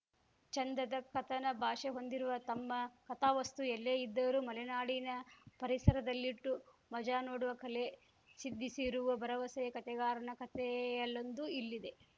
ಚೆಂದದ ಕಥನ ಭಾಷೆ ಹೊಂದಿರುವ ತಮ್ಮ ಕಥಾವಸ್ತು ಎಲ್ಲೇ ಇದ್ದರೂ ಮಲೆನಾಡಿನ ಪರಿಸರದಲ್ಲಿಟ್ಟು ಮಜಾ ನೋಡುವ ಕಲೆ ಸಿದ್ಧಿಸಿರುವ ಭರವಸೆಯ ಕಥೆಗಾರನ ಕಥೆಯಲ್ಲೊಂದು ಇಲ್ಲಿದೆ